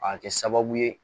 A bɛ kɛ sababu ye